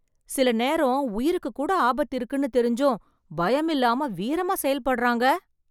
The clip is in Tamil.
சில நேரம் உயிருக்கு கூட ஆபத்து இருக்குனு தெரிஞ்சும், பயம் இல்லாம வீரமா செயல்படறாங்க.